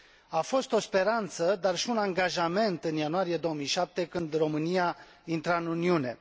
A fost o speranță, dar și un angajament, în ianuarie 2007, când România intra în Uniune.